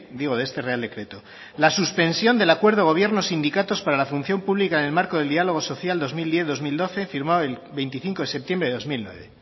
digo de este real decreto la suspensión del acuerdo gobierno sindicatos para la función pública en el marco del diálogo social dos mil diez dos mil doce firmado el veinticinco de septiembre de dos mil nueve